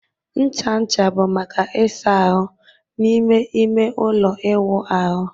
Ncha ncha bụ maka ịsa ahụ n'ime ime ụlọ ịwụ ahụ